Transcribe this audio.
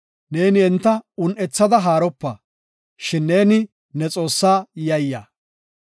Neeni enta un7ethada haaropa; shin neeni, ne Xoossaa yayya.